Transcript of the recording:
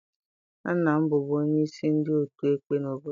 Nna m bụbu onye isi ndị otu ekpe n'obodo m.